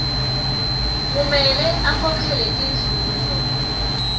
kumele akhokhele tinzuzo